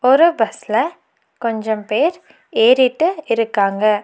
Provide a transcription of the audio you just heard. ஒரு பஸ்ல கொஞ்சம் பேர் ஏறிட்டு இருக்காங்க.